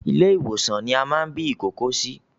Ilé ìwòsan ní a máa bí ìkókó sí